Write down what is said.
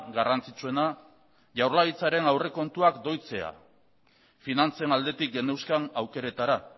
garrantzitsuena jaurlaritzaren aurrekontuak doitzea finantzen aldetik geneuzkan aukeretara